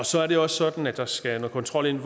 så er det også sådan at der skal noget kontrol ind